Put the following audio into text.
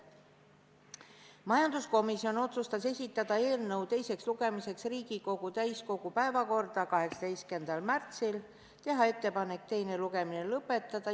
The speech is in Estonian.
Majanduskomisjon otsustas esitada eelnõu teiseks lugemiseks Riigikogu täiskogu päevakorda 18. märtsiks ja teha ettepanek teine lugemine lõpetada.